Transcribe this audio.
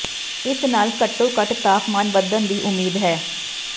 ਇਸ ਨਾਲ ਘੱਟੋ ਘੱਟ ਤਾਪਮਾਨ ਵਧਣ ਦੀ ਉਮੀਦ ਹੈ